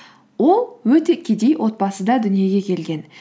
ол өте кедей отбасыда дүниеге келген